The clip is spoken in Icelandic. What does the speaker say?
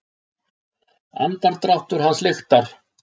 Andardráttur hans lyktar.